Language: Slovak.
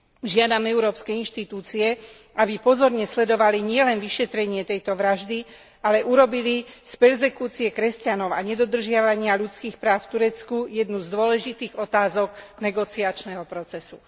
Žiadam európske inštitúcie, aby pozorne sledovali nielen vyšetrenie tejto vraždy, ale urobili z perzekúcie kresťanov a nedodržiavania ľudských práv v Turecku jednu z dôležitých otázok negociačného procesu.